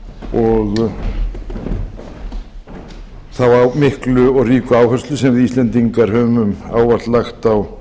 og þá miklu og ríku áherslu sem við íslendingar höfum ávallt lagt á